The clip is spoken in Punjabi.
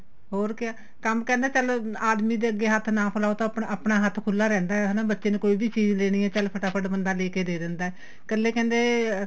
ਹੋਰ ਕਿਆ ਕੰਮ ਕਰਨਾ ਚੱਲ ਆਦਮੀ ਦੇ ਅੱਗੇ ਹੱਥ ਨਾ ਫਿਲਾਉ ਤਾਂ ਆਪਣਾ ਹੱਥ ਖੁੱਲਾ ਰਹਿੰਦਾ ਹਨਾ ਬੱਚੇ ਨੂੰ ਕੋਈ ਵੀ ਚੀਜ਼ ਲੈਣੀ ਏ ਚੱਲ ਫਟਾ ਫਟ ਬੰਦਾ ਲੈ ਕੇ ਦੇ ਦਿੰਦਾ ਕੱਲੇ ਕਹਿੰਦੇ